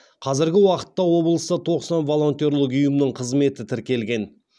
қазіргі уақытта облыста тоқсан волонтерлік ұйымның қызметі тіркелген